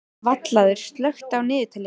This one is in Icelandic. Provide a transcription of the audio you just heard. Vallaður, slökktu á niðurteljaranum.